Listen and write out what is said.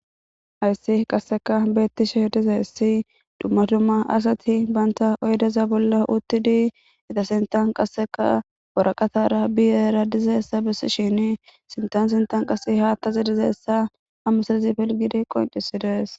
ayssi qasseka beettishe dizayssi dummadumma asati banta oydeza bolla uttidi ita sintan qasseka woraqatara biyera dizaessa bessishin sintan sintan qasse haattazi dizeessa hammusezi pilgidi qoncisides